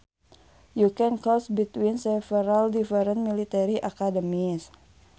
You can choose between several different military academies